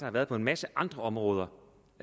har været på en masse andre områder